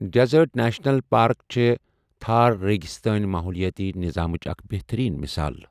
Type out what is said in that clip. Desert national park چھےٚ تھار ریگِستٲنی ماحولِیٲتی نِظامٕچ اَکھ بہتٔریٖن مِثال ۔